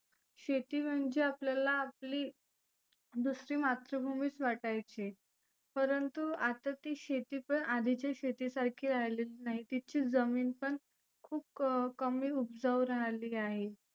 शेती म्हणजे आपल्याला आपली दुसरी मातृभुमीच वाटायची. परंतु आता ती शेती पण आधीच्या शेती सारखी राहिलीच नाही. तीची जमिन पण खुप कमी उपजाऊ रहाली आहे.